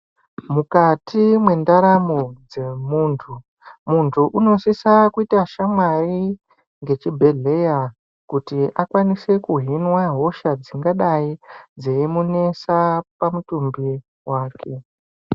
Mukati mwendaramo dzemuntu muntu unosisa kuita shamwari nechibhedhlera kuti akwanise kuhinwa hosha dzingadai dzeimunesa pamutumbi wake.